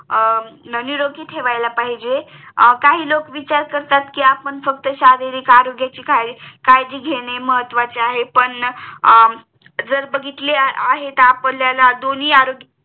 निरोगी ठेवायला पाहिजे आपण फक्त शारीरिक आरोग्या ची काळजी घेणे महत्वाचे आहे पण जर बघितले आहे तर आपल्याला दोन्ही आरोग्याची